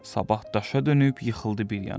Sabah daşa dönüb yıxıldı bir yana.